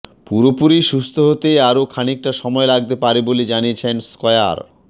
পুরোপুরি সুস্থ হতে আরো খানিকটা সময় লাগতে পারে বলে জানিয়েছেন স্কয়ার